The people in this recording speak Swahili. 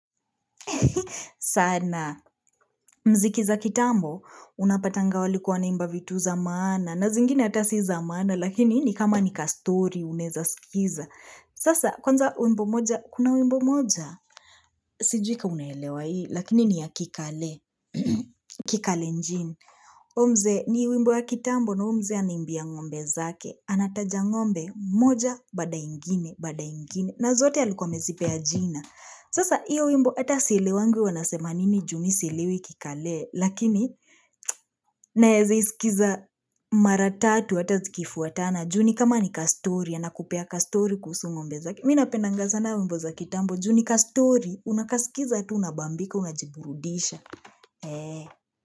Sana, mziki za kitambo, unapatanga walikuwa wanaimba vitu za maana, na zingine hata si za maana, lakini ni kama ni kastori, unaeza skiza. Sasa, kwanza wimbo moja, kuna wimbo moja, sijui kama unaelewa hii, lakini ni ya kikale, kikalenjini. Huyu mzee, ni wimbo ya kitambo, na huyo mzee anaimbia ngombe zake. Anataja ngombe, moja, baada ingine, baada ingine. Na zote alikuwa amezipea jina. Sasa hiyo wimbo hata sielewangi wanasema nini juu sielewi kikale Lakini naeza iskiza mara tatu hata zikifuatana juu ni kama ni kastori anakupea kastori kuhusu ngombe zake Mimi napendanga sana wimbo za kitambo juu ni kastori unakasikiza tu unabambika unajiburudisha.